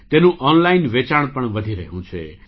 તેનું ઑનલાઇન વેચાણ પણ વધી રહ્યું છે